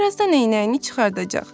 Birazdan eynəyini çıxardacaq.